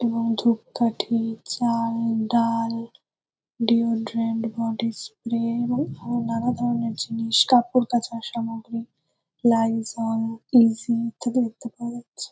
এবং ধূপকাঠি চাল ডাল ডিও ড্রেন্ট বডি স্প্রে এবং আরো নানা ধরণের জিনিস। কাপড় কাঁচার সামগ্রী লাইজল ইসি ইত্যাদি দেখতে পাওয়া যাচ্ছে।